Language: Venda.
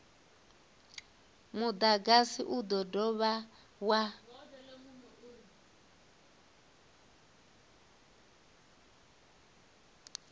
mudagasi u do dovha wa